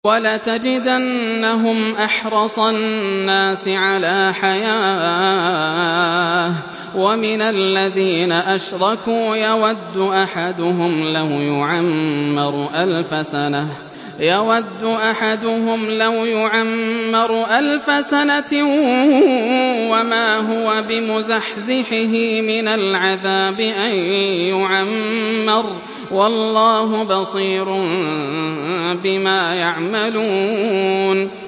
وَلَتَجِدَنَّهُمْ أَحْرَصَ النَّاسِ عَلَىٰ حَيَاةٍ وَمِنَ الَّذِينَ أَشْرَكُوا ۚ يَوَدُّ أَحَدُهُمْ لَوْ يُعَمَّرُ أَلْفَ سَنَةٍ وَمَا هُوَ بِمُزَحْزِحِهِ مِنَ الْعَذَابِ أَن يُعَمَّرَ ۗ وَاللَّهُ بَصِيرٌ بِمَا يَعْمَلُونَ